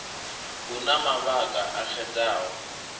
hu na mavhaka a xedzaho